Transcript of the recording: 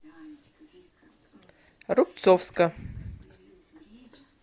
рубцовска